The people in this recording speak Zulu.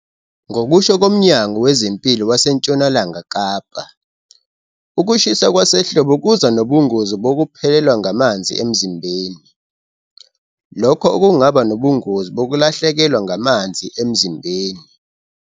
Ngokusho koMnyango Wezempilo waseNtshonalanga Kapa, ukushisa kwasehlobo kuza nobungozi bokuphelelwa ngamanzi emzimbeni, lokho okungaba nobungozi bokulahlekelwa ngamanzi emzimbeni.